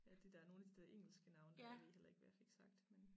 Ja de dér nogen af de dér engelske navne dér jeg ved heller ikke hvad jeg fik sagt men